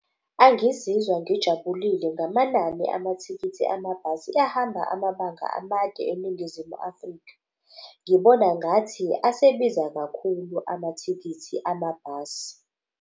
Angizizwa ngijabulile ngamanani amathikithi amabhasi ahamba amabanga amade eNingizimu Afrika. Ngibona ngathi asebiza kakhulu amathikithi amabhasi.